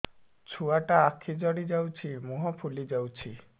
ଛୁଆଟା ଆଖି ଜଡ଼ି ଯାଉଛି ମୁହଁ ଫୁଲି ଯାଉଛି